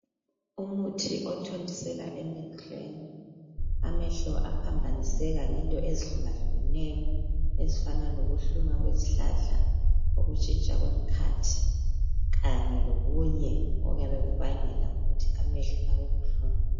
Umuthi othontiselwa emehlweni amehlo aphambaniseka ngento ezihlukahlukeneyo ezifana lokuhluma kwezihlahla ukutshintsha komkhathi Kanye lokunye okuyabe kubangela ukuthi amehlo abe buhlungu